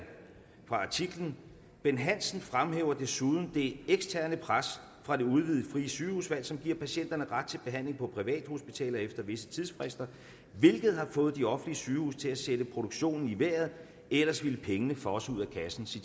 fra artiklen bent hansen fremhæver desuden det eksterne pres fra det udvidede frie sygehusvalg som giver patienter ret til behandling på privathospitaler efter visse tidsfrister hvilket har fået de offentlige sygehuse til at sætte produktionen i vejret ellers ville pengene fosse ud af kassen så